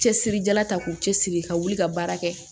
Cɛsiri jala ta k'u cɛsiri ka wuli ka baara kɛ